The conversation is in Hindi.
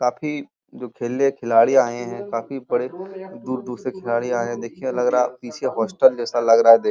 काफी जो खेलने खिलाड़ी आये हैं। काफी बड़े दूर-दूर से खिलाड़ी आये हैं। देखिये लग रहा पीछे हॉस्टल जैसा लग रहा है। दे --